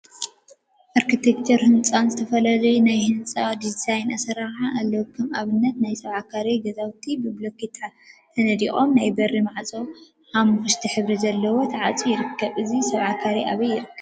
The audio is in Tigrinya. አርኪቴክቸርን ህፃን ዝተፈላለዩ ናይ ህንፃ ቅርፂን ዲዛይን አሰራርሓን አለው፡፡ ከም አብነት ናይ ሰብዓ ካሬ ገዛውቲ ብቡሉኬት ተነዲቁ ናይ በሪ ማዕፆ ሐመኩሽቲ ሕብሪ ዘለዎ ተዓፅዩ ይርከብ፡፡ እዚ ሰብዓ ካሬ አበይ ይርከብ?